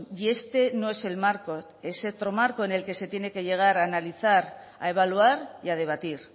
y este no es el marco es otro marco en el que se tiene que llegar a analizar a evaluar y a debatir